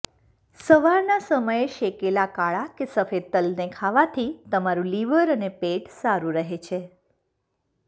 સવારના સમયે શેકેલા કાળા કે સફેદ તલને ખાવાથી તમારું લિવર અને પેટ સારું રહે છે